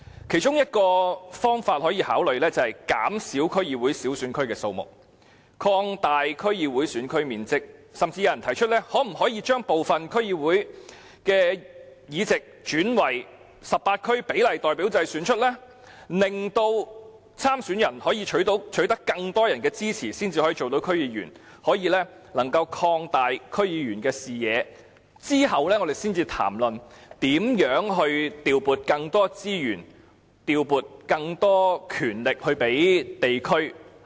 其中一個可以考慮的方法，是減少區議會小選區的數目，擴大區議會選區面積，甚至有人提出將部分區議會的議席轉為由18區比例代表制產生，令參選人須取得更多人的支持才能成為區議員，擴大區議員的視野，在此以後才談論如何調撥更多資源和權力予地區議會。